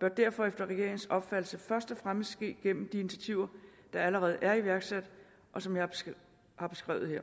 bør derfor efter regeringens opfattelse først og fremmest ske gennem de initiativer der allerede er iværksat og som jeg har beskrevet her